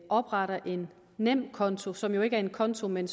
oprettet en nemkonto som jo ikke er en konto men